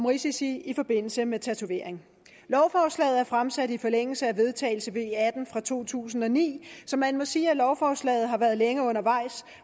risici i forbindelse med tatovering lovforslaget er fremsat i forlængelse af vedtagelse af v atten fra to tusind og ni så man må sige at lovforslaget har været længe undervejs